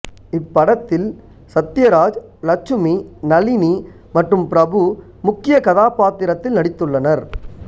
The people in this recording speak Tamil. இப் படத்தில் சத்யராஜ் லட்சுமி நளினி மற்றும் பிரபு முக்கிய கதாபாத்திரத்தில் நடித்துள்ளனர்